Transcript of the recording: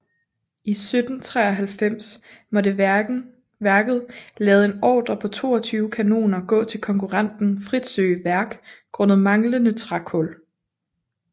I 1793 måtte værket lade en ordre på 22 kanoner gå til konkurrenten Fritzøe Værk grundet manglende trækul